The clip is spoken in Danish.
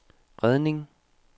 redning